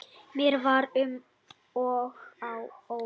Mér var um og ó.